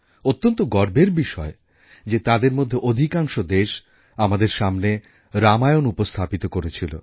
অত্যন্ত গর্বের বিষয় যে তাদের মধ্যে অধিকাংশ দেশ আমাদের সামনে রামায়ণ উপস্থাপিত করেছিল